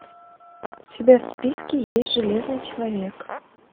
у тебя в списке есть железный человек